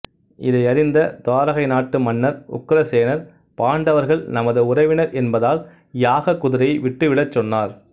இதை அறிந்த துவாரகை நாட்டு மன்னர் உக்கிரசேனர் பாண்டவர்கள் நமது உறவினர் என்பதால் யாக குதிரையை விட்டு விடச் சொன்னார்